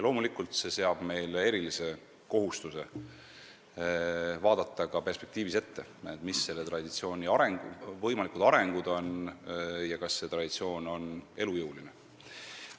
Loomulikult paneb see meile erilise kohustuse vaadata ka perspektiivis, mis selle traditsiooni võimalikud arengud on ja kas see traditsioon on elujõuline.